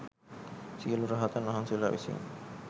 සියලු රහතන් වහන්සේලා විසින්